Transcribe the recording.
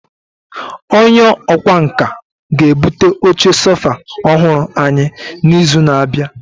Onye ọkwá nkà ga-ebute oche sofa ọhụrụ anyị n'izu na-abịa.